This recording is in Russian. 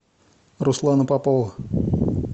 руслана попова